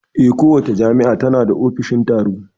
Eh, kowace jami'a tana da ofishin tsaro